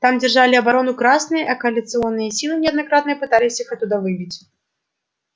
там держали оборону красные а коалиционные силы неоднократно пытались их оттуда выбить